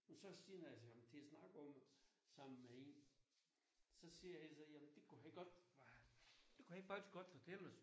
Så sidder jeg til ham til at snakke om at sammen med en så siger jeg altså jamen det kunne han godt det kunne han rent faktisk godt fortælle os